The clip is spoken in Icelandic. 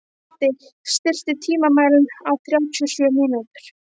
Matti, stilltu tímamælinn á þrjátíu og sjö mínútur.